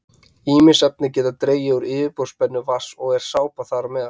Ýmis efni geta dregið úr yfirborðsspennu vatns og er sápa þar á meðal.